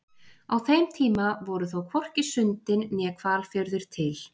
Á þeim tíma voru þó hvorki Sundin né Hvalfjörður til.